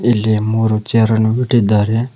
ಇಲ್ಲಿ ಮೂರು ಚೆರ್ ಅನ್ನು ಇಟ್ಟಿದ್ದಾರೆ.